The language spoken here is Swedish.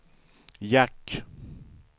jack